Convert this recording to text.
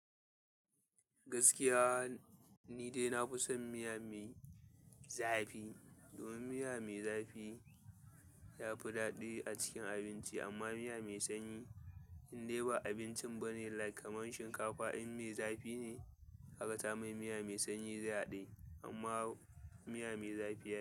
Gaskiya ni dai nafison miya mai zafi domin miya mai zafi yafi daɗi a cikin abinci amma miya mai sanyi in dai ba abincin bane like kaman shinkafa in me zafi ne haka ta mai miya mai sanyi zai haɗe amma miya mai zafi yafi.